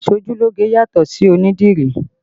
Aṣojúlógé yàtọ̀ sí onídìrí